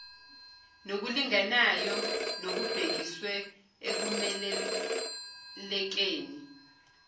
nokulinganayo nokubhekiswe ekumelelekeni